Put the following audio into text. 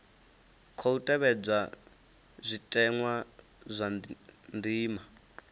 khou tevhedzwa zwitenwa zwa ndima